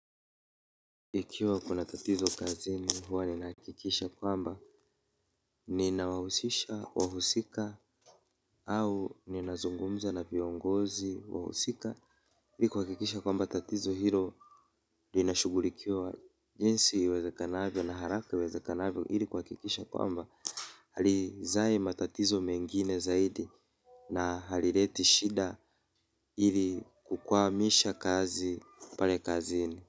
Ikiwa kuna tatizo kazini huwa ninahakikisha kwamba ninawahusisha wahusika au ninazungumza na viongozi wahusika ili kuhakikisha kwamba tatizo hilo linashugulikiawa jinsi iwezekanavyo na haraka iwezekanavyo ili kuhakikisha kwamba halizai matatizo mengine zaidi na halileti shida ili kukwamisha kazi pale kazini.